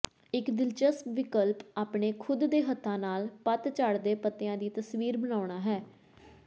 ਇੱਕ ਦਿਲਚਸਪ ਵਿਕਲਪ ਆਪਣੇ ਖੁਦ ਦੇ ਹੱਥਾਂ ਨਾਲ ਪਤਝੜ ਦੇ ਪੱਤਿਆਂ ਦੀ ਤਸਵੀਰ ਬਣਾਉਣਾ ਹੈ